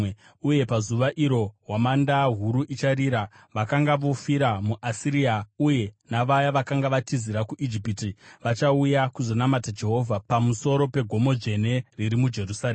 Uye pazuva iro hwamanda huru icharira. Vakanga vofira muAsiria uye navaya vakanga vatizira kuIjipiti vachauya kuzonamata Jehovha pamusoro pegomo dzvene riri muJerusarema.